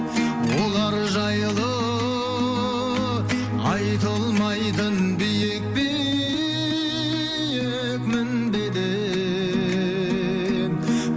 олар жайлы айтылмайтын биік биік мінбеден